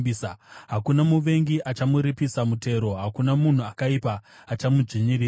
Hakuna muvengi achamuripisa mutero; hakuna munhu akaipa achamudzvinyirira.